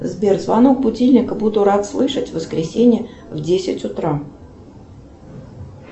сбер звонок будильника буду рад слышать в воскресенье в девять утра